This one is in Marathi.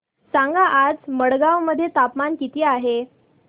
सांगा आज मडगाव मध्ये तापमान किती आहे